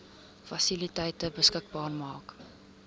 fasiliteite beskikbaar maak